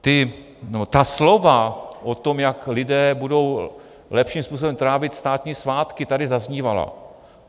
Ta slova o tom, jak lidé budou lepším způsobem trávit státní svátky, tady zaznívala.